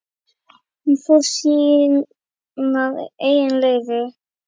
Hún fór sínar eigin leiðir.